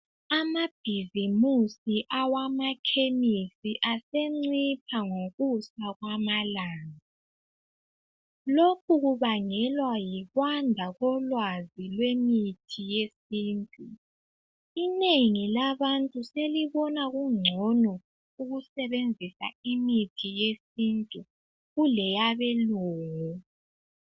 Amabhizimusi amakhemesi asencipha ngokwanda kwamalanga lokhu kubangelwa yikwanda kolwazi lwemithi yesintu inengi labantu selibona kungcono ukusebenzisa imithi yesintu kuleyabelungu.